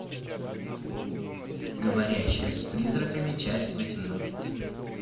говорящая с призраками часть восемнадцать